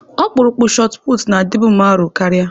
Ọkpụrụkpụ shotụputụ na-adịbu m arọ karịa.